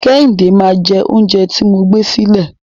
Kẹ́hìndé máa jẹ oúnjẹ tí mo gbé sílẹ̀.